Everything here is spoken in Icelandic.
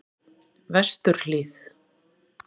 Vesturhlíð